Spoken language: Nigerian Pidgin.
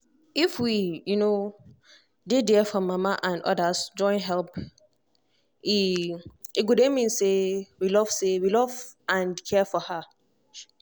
if we um dey there for mama and others join help e um mean say we love say we love and care for her um